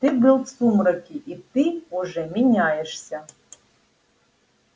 ты был в сумраке и ты уже меняешься